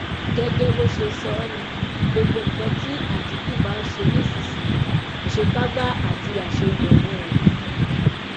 gẹgẹ bó ṣe sọ ọ ni gbogbo nǹkan tí àtìkù bá ń ṣe nísìnyìí àṣekágbá àti àṣegbẹyìn ẹ ni